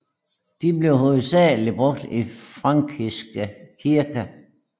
De blev hovedsageligt brugt i frankiske kirker